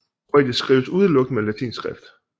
Kroatisk skrives udelukkende med latinsk skrift